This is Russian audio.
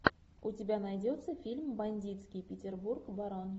у тебя найдется фильм бандитский петербург барон